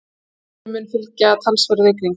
Þessu mun fylgja talsverð rigning.